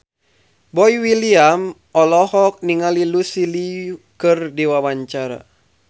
Boy William olohok ningali Lucy Liu keur diwawancara